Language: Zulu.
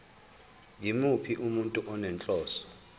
yimuphi umuntu onenhloso